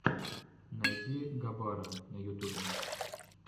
найди габара на ютубе